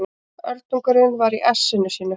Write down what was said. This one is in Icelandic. Öldungurinn var í essinu sínu.